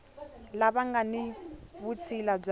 lava nga ni vutshila bya